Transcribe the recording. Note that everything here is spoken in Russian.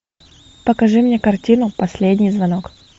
покажи мне картину последний звонок